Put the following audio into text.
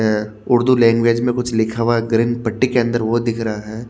अ Urdu language में कुछ लिखा हुआ ग्रीन पट्टी के अंदर वो दिख रहा है।